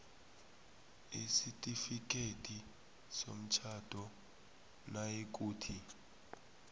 isitifikhethi somtjhado nayikuthi